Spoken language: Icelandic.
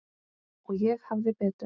Og ég hafði betur.